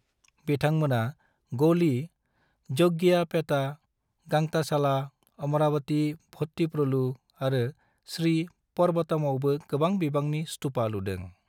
बिथांमोना गोली, जग्गियाहपेटा, गंताशाला, अमरावति भट्टीप्रोलु ​​आरो श्री पर्वतमावबो गोबां बिबांनि स्तुपा लुदों।